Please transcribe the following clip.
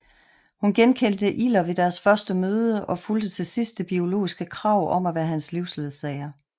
Hun genkendte Ilder ved deres første møde og fulgte til sidst det biologiske krav om at være hans livsledsager